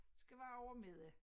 Det skal være over middag